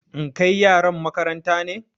In kai yaran makaranta ne?